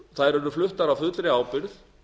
þær eru fluttar af fullri ábyrgð